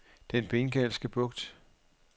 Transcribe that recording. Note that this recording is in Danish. Den Bengalske Bugt